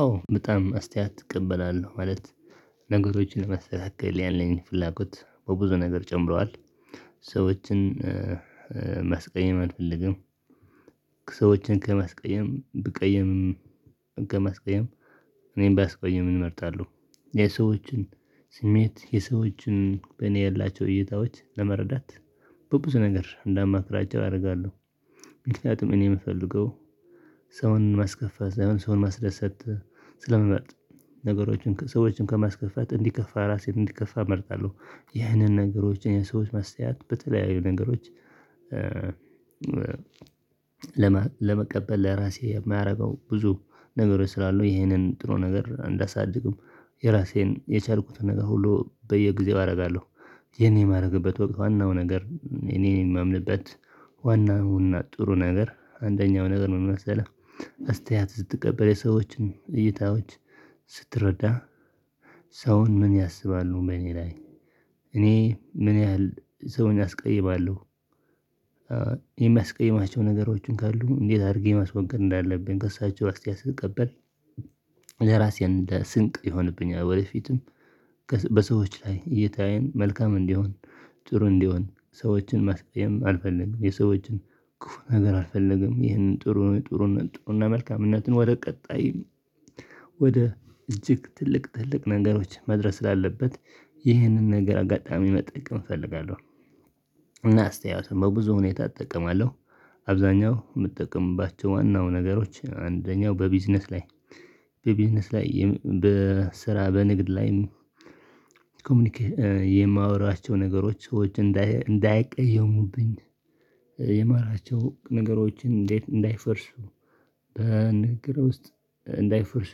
አዎ በጣም አስተያየት እቀበላለሁ ማለት ነገሮችን ለማተካከል ያለኝን ፍላጎት በብዙ ነገር ጨምረዋል። ሰዎችን ማስቀየም አልፈልግም። ሰዎችን ከማስቀየም ብቀይምም ከማስቀየም እኔም ቢያስቀይም እመርጣለሁ። የሰዎችን ስሜት የሰዎችን በእኔ ያላቸው እይታዎች ለመረዳት በብዙ ነገር እንዳማክራቸው አደርጋለሁ። ምክንያቱም እኔ የምፈልገው ሰውን ማስከፋት ላይሆን ሰውን ማስደሰት ስለምምመርጥ ነገሮችን ሰዎችን ከማስከፈት እንዲከፋ ራሴን እንድከፋ እመርጣለሁ። ይህንን ነገሮችን የሰዎች አስተያየት በተለያዩ ነገሮች ለመቀበል ለራሴ የማደርገው ብዙ ነገሮች ስላሉ ይሄንን ጥሩ ነገር እንዳሳድግም የራሴን የቻልኩትን ነገር ሁሉ በየጊዜው አደርጋለሁ። ይሄን የማደርግበት ወቅት ዋናው ነገር እኔ የማምንበት ዋናውና ጥሩ ነገር አንደኛው ነገር ምን መሰለህ አስተያየት ስትቀበል የሰዎችን እይታዎች ስትረዳ ሰውን ምን ያስባሉ በእኔ ላይ እኔ ምን ያህል ሰውን ያስቀይማሉ? የሚያስቀይማቸው ነገሮችን ካሉ እንዴት አድርጌ ማስወገድ እንዳለብኝ ከእሳቸው አስተያየት ስትቀበል። ለራሴ እንደ ስንቅ ይሆንብኛል ወደፊትም በሰዎች ላይ እይታዬን መልካም እንዲሆን ጥሩ እንዲሆን ሰዎችን ማስቀየም አልፈልግም። የሰዎችን ክፉ ነገር አልፈልግም ይህንን ጥሩ ጥሩነት ጥሩነት መልካምነትን ወደ ቀጣይ ወደ እጅግ ትልቅ ትልቅ ነገሮች መድረስ ስላለበት ይህንን ነገር አጋጣሚ መጠቀም እፈልጋለሁ። እና አስተያየትን በብዙ ሁኔታ እጠቀማለሁ። አብዛኛው የምጠቀምባቸው ዋናው ነገሮች አንደኛው በቢዝነስ ላይ በቢዝነስ ላይ በስራ በንግድ ላይም ኮሚኒኬት የማወራቸው ነገሮች ሰዎች እንዳይቀየሙብኝ። የማወራቸው ነገሮችን እንዴት እንዳይፈርሱ በንግግር ውስጥ እንዳይፈርሱ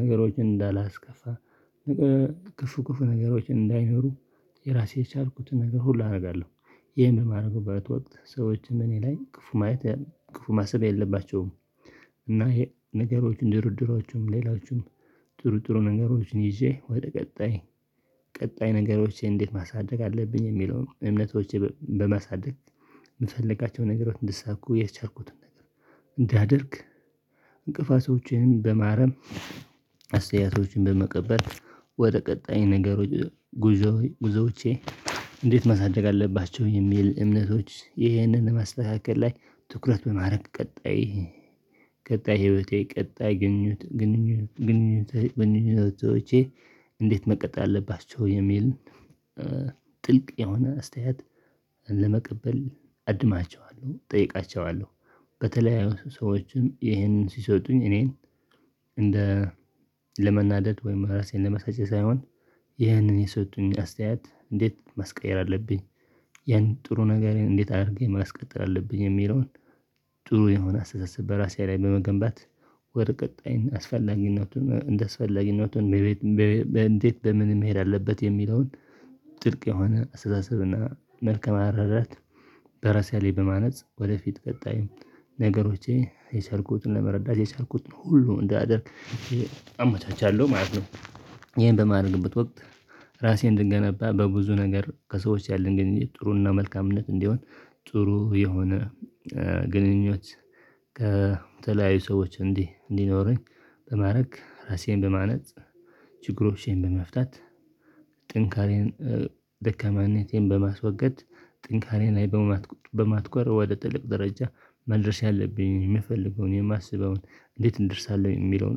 ነገሮችን እንዳላስከፋ። ክፉ ክፉ ነገሮችን እንዳይኖሩ የራሴ የቻልኩትን ነገር ሁሉ አደርጋለሁ። ይሄን በማድረግበት ወቅት ሰዎችን እኔ ላይ ክፉ ማሰብ የለባቸውም። እና ነገሮችን ድርድሮቹም ሌላዎቹም ጥሩ ጥሩ ነገሮችን ይዤ ወደ ቀጣይ ቀጣይ ነገሮቼ እንዴት ማሳደግ አለብኝ የሚለውን እምነቶቼ በማሳደግ የምፈልጋቸው ነገሮች እንዲሳኩ የቻርኩትን ነገር እንዳደርግ። እንቅፋቶችን በማረም አስተያየቶችን በመቀበት ወደ ቀጣይ ነገሮች ጉዞ ጉዞዎቼ እንዴት ማሳደግ አለባቸው የሚል እምነቶች ይህንን ማስተካከል ላይ ትኩረት በማድረግ ቀጣይ ህይወቴ ቀጣይ ግንኙነት ግንኙነት ግንኙነቶቼ እንዴት መቀጠል አለባቸው የሚል ጥልቅ የሆነ አስተያየት ለመቀበል አድማቸዋለሁ እጠይቃቸዋለሁ። በተለያዩ ሰዎችም ይሄንን ሲሰጡኝ እኔን እንደ ለመናደድ ወይም ራሴን ለመሳጨት ሳይሆን ይህንን የሰጡኝ አስተያየት እንዴት ማስቀየር አለብኝ? ያን ጥሩ ነገሬን እንዴት አድርጌ ማስቀጠል አለብኝ የሚለውን። ጥሩ የሆነ አስተሳሰብ በራሴ ላይ በመገንባት ወደ ቀጣይን አስፈላጊነቱን እንደስፈላጊነቱን እንዴት በምን መሄድ አለበት የሚለውን? ጥልቅ የሆነ ስላሰብና መልካም አረዳድ በራሴ ላይ በማነጽ ወደፊት ቀጣይ ነገሮቼ የቻልኩትን ለመረዳት የቻልኩትን ሁሉ እንዳደርግ አመቻቻለሁ ማለት ነው። ይሄን በማድረግበት ወቅት ራሴን እንድገነባ በብዙ ነገር ከሰዎች ያለን ግንኙነት ጥሩና መልካምነት እንዲሆን ጥሩ የሆነ ግንኙነት ከተለያዩ ሰዎች እንዲህ እንዲኖረኝ በማድረግ ራሴን በማነጽ ችግሮቼን በመፍታት ጥንካሬዬን ደካማነቴን በማስወገድ ጥንካሬ ላይ በማትኮር ወደ ትልቅ ደረጃ መድረስ ያለብኝ የምፈልገውን የማስበውን እንዴት እደርሳለሁ የሚለውን።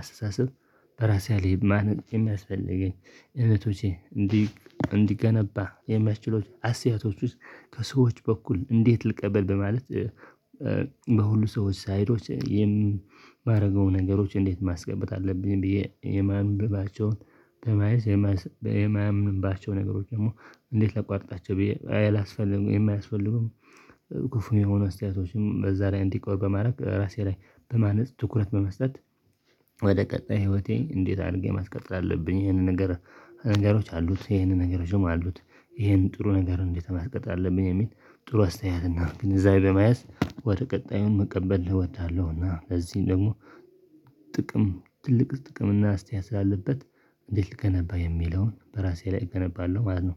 አስተሳሰብ በራሴ አለኝ ማን የሚያስፈልገኝ እውነቶቼ እንዲገነባ የሚያስችሉት አስተያየቶች ውስጥ ከሰዎች በኩል እንዴት ልቀበል በማለት። በሁሉ ሰዎች ሳይዶች የማደርገው ነገሮች እንዴት ማስገበጥ አለብኝ ብዬ የማንበባቸውን በማየት የማያምንባቸው ነገሮች ደግሞ እንዴት ላቋርጣቸው ብዬ አይል አስፈልጉ የማያስፈልጉም። ክፉ የሆኑ አስተያየቶችም በዛ ላይ እንዲቆርብ በማድረግ ራሴ ላይ በማነጽ ትኩረት በመስጠት ወደ ቀጣይ ህይወቴ እንዴት አድርጌ ማስቀጥል አለብኝ? ይሄንን ነገር ነገሮች አሉት ይሄንን ነገር ስም አሉት ይሄንን ጥሩ ነገር እንዴት ማስቀጠል አለብኝ የሚል ጥሩ አስተያየት እና ግን እዛ ለመያዝ ወደ ቀጣዩ መቀበል እወዳለሁና። እዚህ ደግሞ ጥቅም ትልቅ ጥቅም እና አስተያየት ስላለበት እንዴት ልገነባ የሚለውን በራሴ ላይ እገነባለሁ ማለት ነው።